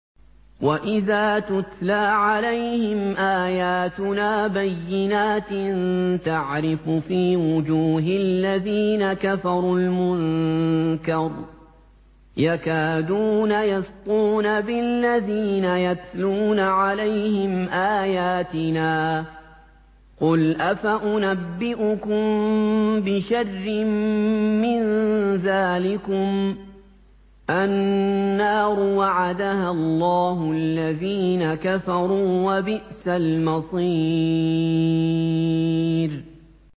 وَإِذَا تُتْلَىٰ عَلَيْهِمْ آيَاتُنَا بَيِّنَاتٍ تَعْرِفُ فِي وُجُوهِ الَّذِينَ كَفَرُوا الْمُنكَرَ ۖ يَكَادُونَ يَسْطُونَ بِالَّذِينَ يَتْلُونَ عَلَيْهِمْ آيَاتِنَا ۗ قُلْ أَفَأُنَبِّئُكُم بِشَرٍّ مِّن ذَٰلِكُمُ ۗ النَّارُ وَعَدَهَا اللَّهُ الَّذِينَ كَفَرُوا ۖ وَبِئْسَ الْمَصِيرُ